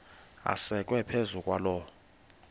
asekwe phezu kwaloo